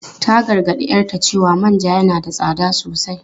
Ta gargadi 'yarta cewa manja yana da tsada sosai.